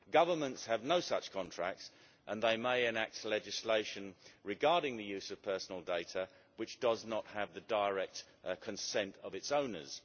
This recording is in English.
Governments have no such contracts and they may enact legislation regarding the use of personal data which does not have the direct consent of its owners.